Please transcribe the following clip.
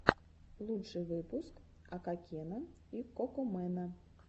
лучший выпуск окакена и кокомэна